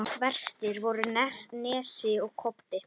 Verstir voru Nesi og Kobbi.